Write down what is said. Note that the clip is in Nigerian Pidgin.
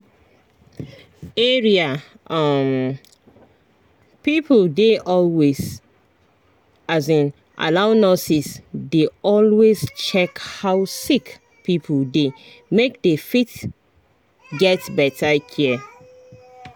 area um people dey always um allow nurses dey always check how sick pipo dey make dey fit get better care.